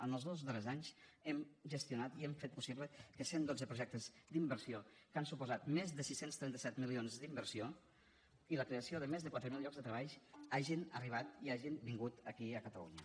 en els dos darrers anys hem gestionat i hem fet possible que cent dotze projectes d’inversió que han suposat més de sis cents i trenta set milions d’inversió i la creació de més de quatre mil llocs de treball hagin arribat i hagin vingut aquí a catalunya